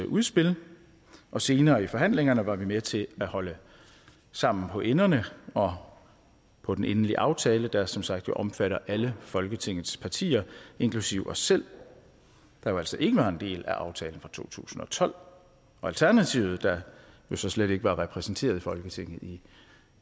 udspil og senere i forhandlingerne var vi med til at holde sammen på enderne og på den endelige aftale der som sagt jo omfatter alle folketingets partier inklusive os selv der altså ikke var en del af aftalen fra to tusind og tolv og alternativet der jo så slet ikke var repræsenteret i folketinget i